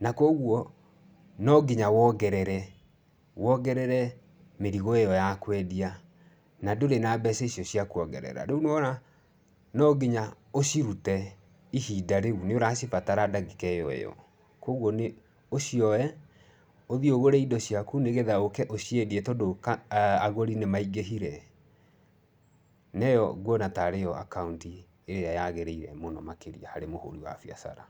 Na kwa ũguo no nginya wongerere, wongerere mĩrigo ĩyo ya kũendia na ndũrĩ na mbeca icio cia kuongerera, rĩu nĩ wona no nginya ũcirute ihinda rĩu, nĩũracibatara ndagĩka ĩyo ĩyo kogwo nĩ ũcioye ũthiĩ ũgũre indo ciaku nĩgetha ũke ũciendie tondũ agũri nĩ maingĩhire. Na ĩyo nguona ta rĩ yo akaunti ĩrĩa yagĩrĩire mũno makĩria harĩ mũhũri wa biacara.